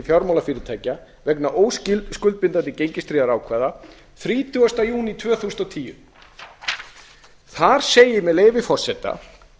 fjármálafyrirtækja vegna óskuldbindandi gengistryggðra ákvæða þrítugasta júní tvö þúsund og tíu þar segir með leyfi forseta